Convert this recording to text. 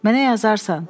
Mənə yazarsan.